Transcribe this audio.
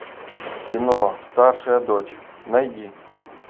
кино старшая дочь найди